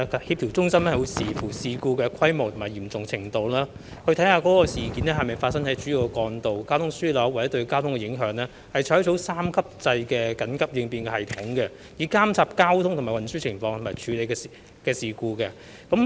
協調中心會視乎事故的規模及嚴重程度，事件是否發生在主要幹道或交通樞紐，以及事件對交通的影響，採用三級制緊急應變系統，以監察交通運輸情況並處理事故。